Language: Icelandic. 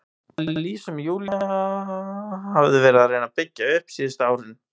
Það líf sem Júlía hafði verið að reyna að byggja upp síðustu árin.